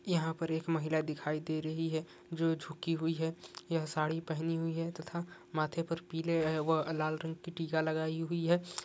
यहां पर एक महिला दिखाई दे रही है जो झुकी हुई है यह साडी पहनी हुई है तथा माथे पे पीले व लाल रंग की टिका लगाई हुई है।